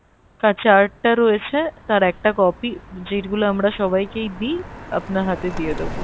chart টা রয়েছে তার একটা copy যেগুলো আমরা সবাইকেই দিই আপনার হাতে দিয়ে দেবো।